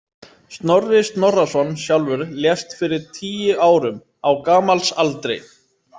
Snorri Snorrason sjálfur lést fyrir tíu árum, á gamals aldri.